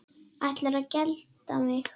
Ætlarðu að gelda mig?